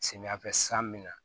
Samiyɛfɛ san min na